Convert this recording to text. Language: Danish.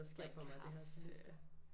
Drikke kaffe